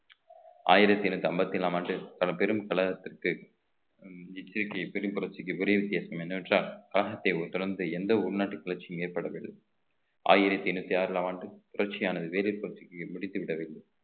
ஆயிரத்தி எண்ணூத்தி ஐம்பத்தி ஏழாம் ஆண்டு தளம் பெரும் தமிழகத்தில் பெரும் புரட்சிக்கு பெரிய வித்தியாசம் என்னவென்றால் கழகத்தை தொடர்ந்து எந்த உள்நாட்டு கிளர்ச்சியும் ஏற்படவில்லை ஆயிரத்தி எண்ணூத்தி ஆறாம் ஆண்டு புரட்சியானது வேதி புரட்சிக்கு முடித்துவிட வேண்டும்